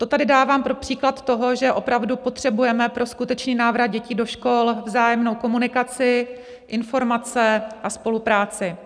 To tady dávám pro příklad toho, že opravdu potřebujeme pro skutečný návrat dětí do škol vzájemnou komunikaci, informace a spolupráci.